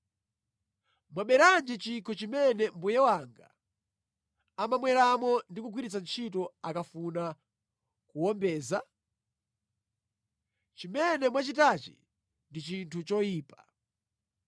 Mwaberanji chikho chimene mbuye wanga amamweramo ndi kugwiritsa ntchito akafuna kuwombeza? Chimene mwachitachi ndi chinthu choyipa.’ ”